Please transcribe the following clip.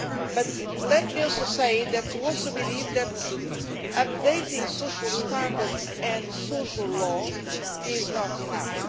But let me also say that we believe that updating social standards and social law is not enough.